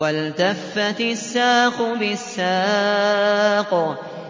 وَالْتَفَّتِ السَّاقُ بِالسَّاقِ